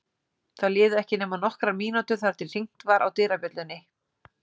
Það liðu ekki nema nokkrar mínútur þar til hringt var á dyrabjöllunni.